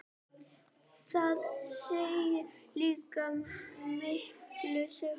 Það segir líka mikla sögu.